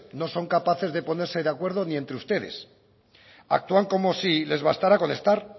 no son capaces de ponerse de acuerdo ni entre ustedes actúan como si les bastara con estar